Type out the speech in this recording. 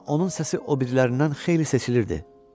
Və onun səsi o birilərindən xeyli seçilirdi.